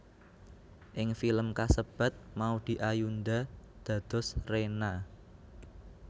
Ing film kasebat Maudy Ayunda dados Rena